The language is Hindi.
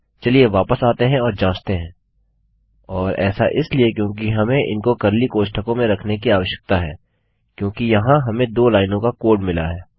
चलिए वापस आते हैं और जाँचते हैंऔर ऐसा इसलिए क्योंकि हमें इनको कर्ली कोष्ठकों में रखने की आवश्यकता है क्योंकि यहाँ हमें दो लाइनों का कोड मिला है